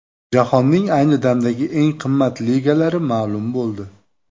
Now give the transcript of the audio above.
Jahonning ayni damdagi eng qimmat ligalari ma’lum bo‘ldi.